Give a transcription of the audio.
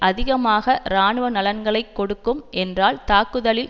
அதிகமாக இராணுவ நலன்களை கொடுக்கும் என்றால் தாக்குதலில்